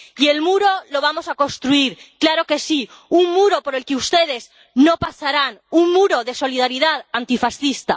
Y el muro lo vamos a construir —claro que sí—, un muro por el que ustedes no pasarán, un muro de solidaridad antifascista.